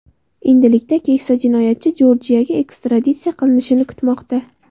Endilikda keksa jinoyatchi Jorjiyaga ekstraditsiya qilinishini kutmoqda.